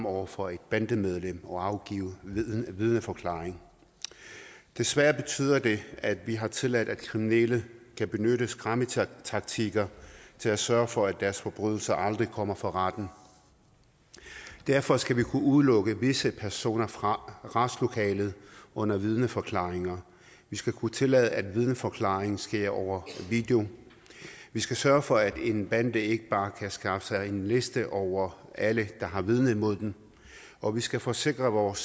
over for et bandemedlem og afgive vidneforklaring desværre betyder det at vi har tilladt at kriminelle kan benytte skræmmetaktikker til at sørge for at deres forbrydelser aldrig kommer for retten derfor skal vi kunne udelukke visse personer fra retslokalet under vidneforklaringer vi skal kunne tillade at vidneforklaringen sker over video vi skal sørge for at en bande ikke bare kan skaffe sig en liste over alle der har vidnet mod dem og vi skal forsikre vores